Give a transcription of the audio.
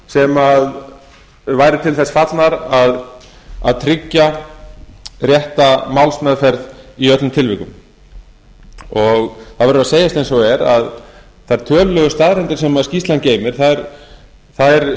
sem væru til þess fallnar að tryggja rétta málsmeðferð í öllum tilvikum það verður að segjast eins og er að þær tölulegu staðreyndir sem skýrslan geymir þær